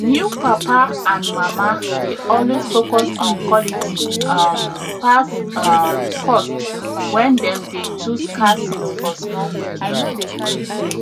new papa and mama dey alway focus on quality um pass um cost when dem dey choose car seat for small pikin